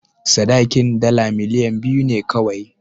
Sadakin dala miliyan biyu ne kawai.